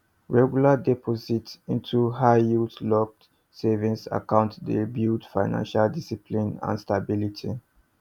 regular deposits into highyield locked savings accounts dey build financial discipline and stability